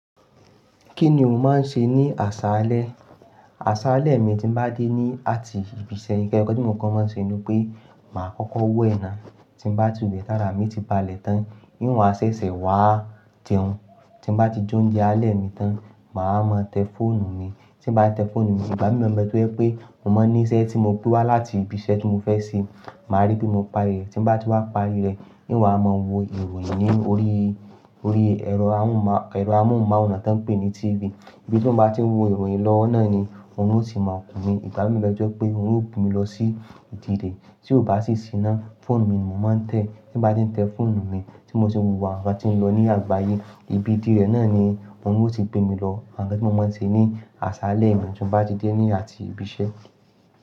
Kí ni o máa ń ṣe ní àsálẹ́? Àsálẹ́ mi tí n bá dé ní àti ibi iṣẹ́, nǹkan tí mo kọ́ máa ń ṣe ni pé màá kọ́kọ́ wẹ́na. Tí n bá ti wẹ̀ tàrá, mí ti ba lẹ̀ tán, níwọ̀n a ṣẹ̀ṣẹ̀ wá tẹ̀ ẹ́. Tí mo bá ti jóǹje alẹ́ mi tán, màá mọ tẹ fóònù mi. Tí mo bá ti tẹ fóònù mi, ìbá mi mọ̀ n bé tó jẹ́ pé mo máa ní iṣẹ́ tí mo gbewa láti ibi iṣẹ́ tí mo fẹ́ ṣe. Màá rí bí mo parí rẹ̀. Tí mo bá ti wá parí rẹ̀, níwọ̀n a máa wo ìròyìn ní orí, orí ẹ̀rọ amóhùnmáwòrán tí wọ́n ń pè ní TV. Ibi tí mo bá ti wo ìròyìn lọ náà ni òrun ó ti máa kun mí. Ìbá mi n bé tó jẹ́ pé òrun ó gbé mi lọ sí ìdíré, tí ó bá sì sí iná, fóònù mi ni mò ń tẹ. Tí mo bá ti tẹ fóònù mi, tí mo sì hùwà, àbí bá ti ń lọ ní àgbáyé, ibi díẹ̀ náà ni òrun ó ti gbé mi lọ. Awon nkan ti mo máa ń ṣe ní àsálẹ́ mi tí mo bá ti dé ní àti ibi iṣẹ́?